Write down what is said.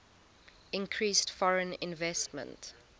increased foreign investment